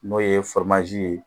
N'o ye ye